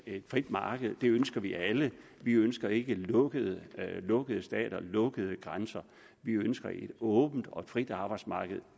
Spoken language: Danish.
et frit marked det ønsker vi alle vi ønsker ikke lukkede lukkede stater lukkede grænser vi ønsker et åbent og frit arbejdsmarked